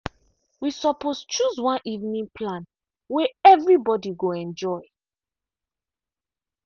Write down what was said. we suppose chose one evening plan way everybody go enjoy.